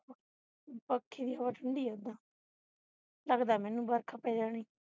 ਪੱਖੇ ਦੀ ਹਵਾ ਠੰਡੀ ਹੈ ਉਹਦਾ ਲਗਦਾ ਹੈ ਮੈਨੂੰ ਵਰਖਾ ਪੈ ਜਾਣੀ